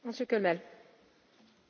Vielen Dank für diese Frage.